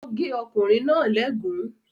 Ó gé ọkùnrin náà léègún.